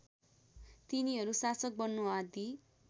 तिनीहरू शासक बन्नु आदि